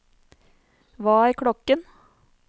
hva er klokken